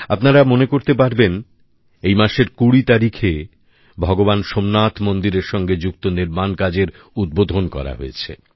আপনারা মনে করতে পারেন এই মাসের কুড়ি তারিখে ভগবান সোমনাথ মন্দিরের সঙ্গে যুক্ত নির্মাণ কাজের উদ্বোধন করা হয়েছে